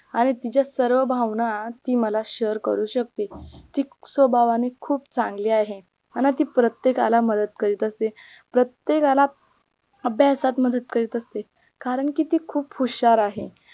आणि तिच्या सर्व भावना ती मला share करू शकते ती स्वभावाने खूप चांगली आहे मला ती प्रत्येकाला मदत करीत असते प्रेत्येकाला अभ्यासात मदत करीत असते कारण की ती खूप हुशार आहे